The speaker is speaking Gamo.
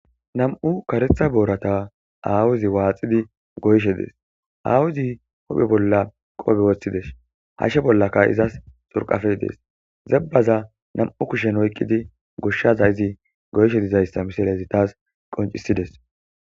Nam'u Kareththa Boorata Awazi Waaxxidi Goyshe Dees Awazi Huuphe Bolla Qophe Woththides Hashe Bollaka Izas Xurqappe Dees Zepaza Nam'u Kushen Oyqidi Goshaza Izi Goyshe Dizaysa Misilezi Tas Qoncisides